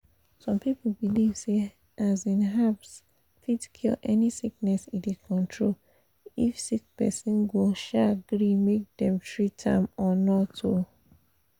some people believe say um herbs fit cure any sickness e dey control if sick person go um gree make them treat am or not. um